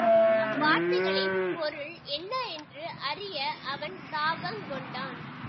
அவ்வார்த்தைகளின் பொருள் என்ன என்று அறிய அவன் தாபங் கொண்டான்